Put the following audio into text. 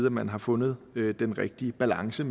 at man har fundet den rigtige balance